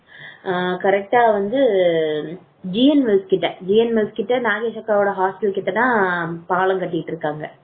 அஹ கரெக்டா வந்து ஜி என் எஸ் கிட்ட GN மில்ஸ் கிட்ட GN மில்ஸ் கிட்ட நாகேஷ் அக்காவோட hospital கிட்ட தான் பாலம் கட்டிட்டு இருக்காங்க